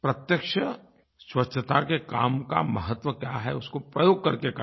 प्रत्यक्ष स्वच्छता के काम का महत्व क्या है उसको प्रयोग करके करना